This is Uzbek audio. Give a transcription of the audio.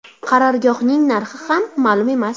Qarorgohning narxi ham ma’lum emas.